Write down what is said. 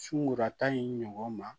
Sunkurura tan in ɲɔgɔn ma